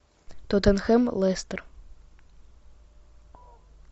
тоттенхэм лестер